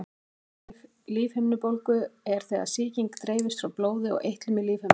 Fyrsta stigs lífhimnubólga er þegar sýking dreifist frá blóði og eitlum í lífhimnuna.